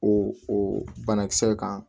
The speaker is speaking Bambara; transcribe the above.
O o banakisɛ kan